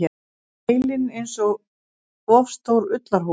Heilinn einsog of stór ullarhúfa.